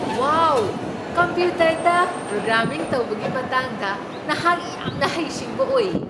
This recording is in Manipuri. ꯋꯥꯎ! ꯀꯝꯄ꯭ꯌꯨꯇꯔꯗ ꯄ꯭ꯔꯣꯒ꯭ꯔꯥꯃꯤꯡ ꯇꯧꯕꯒꯤ ꯃꯇꯥꯡꯗ ꯅꯍꯥꯛ ꯌꯥꯝꯅ ꯍꯩꯁꯤꯡꯕ ꯑꯣꯏꯌꯦ꯫